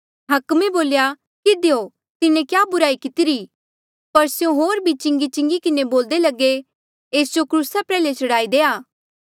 हाकमे बोल्या किधियो तिन्हें क्या बुराई कितिरी पर स्यों होर भी चिंगीचिंगी किन्हें बोलदे लगे एस जो क्रूसा प्रयाल्हे चढ़ाई देआ